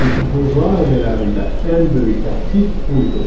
Çünki bu rayələrində ən böyük təhdid bu idi.